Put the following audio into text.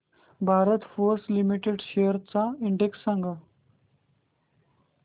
Bharat Forge limited shares चा index सांगा